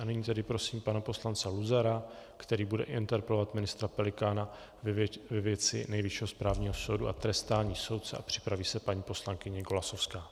A nyní tedy prosím pana poslance Luzara, který bude interpelovat ministra Pelikána ve věci Nejvyššího správního soudu a trestání soudců, a připraví se paní poslankyně Golasowská.